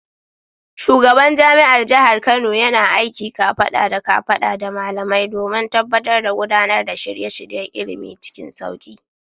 Shugaban jami’ar jihar Kano yana aiki kafada da kafada da malamai domin tabbatar da gudanar da shirye-shiryen ilimi cikin sauki.